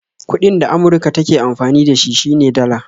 Kuɗin da Amurka take amfani da shi ,shi ne Dala